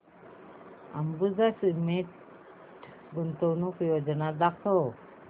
Ambuja cement limited गुंतवणूक योजना दाखव